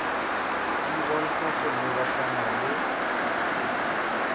di bontsha go lebagana le